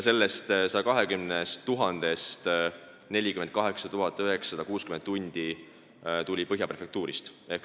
Nendest 120 000 tunnist 48 960 tundi moodustas töö Põhja prefektuuris.